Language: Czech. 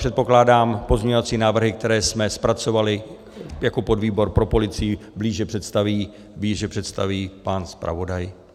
Předpokládám, pozměňovací návrhy, které jsme zpracovali jako podvýbor pro policii, blíže představí pan zpravodaj.